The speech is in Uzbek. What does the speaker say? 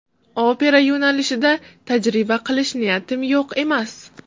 Opera yo‘nalishida tajriba qilish niyatim yo‘q emas.